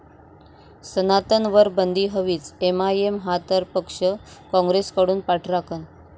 सनातन'वर बंदी हवीच!, एमआयएम हा तर पक्ष, काँग्रेसकडून पाठराखण